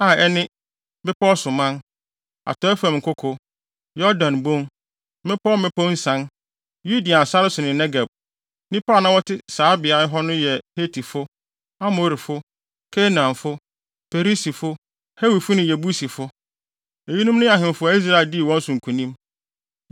a ɛne, bepɔw so man, atɔe fam nkoko, Yordan Bon, mmepɔw mmepɔw nsian, Yudean sare so ne Negeb. Nnipa a na wɔte saa beae hɔ no yɛ Hetifo, Amorifo, Kanaanfo, Perisifo, Hewifo ne Yebusifo.) Eyinom ne ahemfo a Israel dii wɔn so nkonim: 1